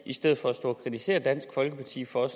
i stedet for at stå og kritisere dansk folkeparti for at